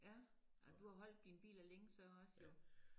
Ja ja du har holdt dine biler længe så også jo